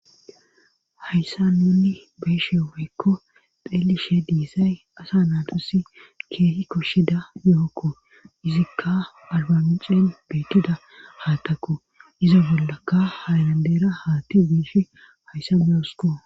hayssa nunni beeshe woykko xeelishe diissay asa naadusi keehi koshshida yookko izikka albamicen beettida haattaku izo bollaka hayrandera haatti wiish hayssa boosuko